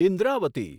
Indravati